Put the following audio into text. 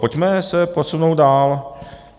Pojďme se posunout dál.